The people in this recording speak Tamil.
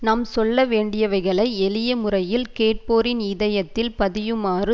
நாம் சொல்ல வேண்டியவைகளை எளிய முறையில் கேட்போரின் இதயத்தில் பதியுமாறு